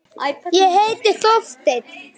Ég heiti Helga!